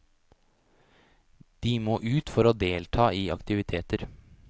De må ut for å delta i aktiviteter.